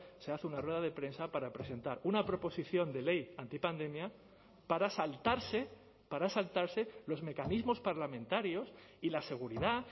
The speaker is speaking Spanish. se hace una rueda de prensa para presentar una proposición de ley antipandemia para saltarse para saltarse los mecanismos parlamentarios y la seguridad